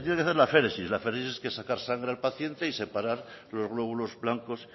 se tiene que hacer la aféresis la aféresis es sacarle sangre al paciente y separar los glóbulos blancos